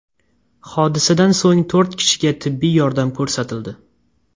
Hodisadan so‘ng to‘rt kishiga tibbiy yordam ko‘rsatildi.